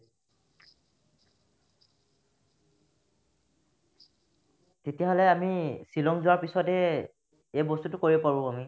তেতিয়াহ'লে আমি ছিলং যোৱাৰ পিছতে এই বস্তুতো কৰিব পাৰো আমি